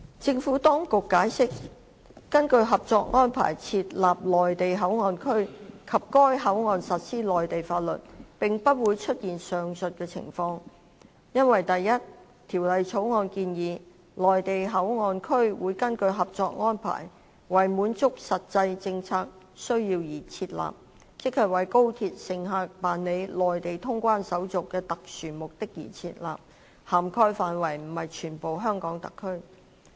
政府當局解釋，根據《合作安排》設立內地口岸區及在該口岸實施內地法律，並不會出現上述的情況，因為第一，《條例草案》建議，內地口岸區會根據《合作安排》，為滿足實際政策需要而設立，即為高鐵乘客辦理內地通關手續的特殊目的而設立，涵蓋範圍不是全香港特區。